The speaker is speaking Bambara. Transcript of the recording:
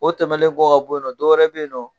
O tɛmɛlen kɔ ka bɔ yennɔ dɔwɛrɛ be yenɔ.